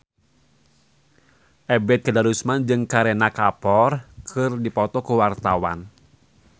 Ebet Kadarusman jeung Kareena Kapoor keur dipoto ku wartawan